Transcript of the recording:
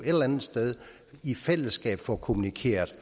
eller andet sted i fællesskab får kommunikeret